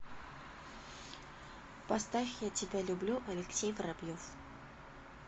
поставь я тебя люблю алексей воробьев